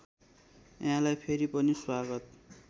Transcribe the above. यहाँलाई फेरि पनि स्वागत